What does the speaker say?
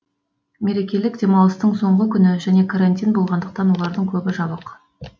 мерекелік демалыстың соңғы күні және карантин болғандықтан олардың көбі жабық